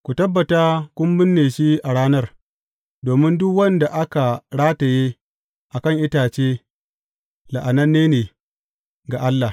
Ku tabbata kun binne shi a ranar, domin duk wanda aka rataye a kan itace la’ananne ne ga Allah.